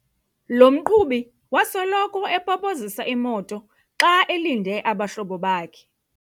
Lo mqhubi wasoloko epopozisa imoto xa elinde abahlobo bakhe.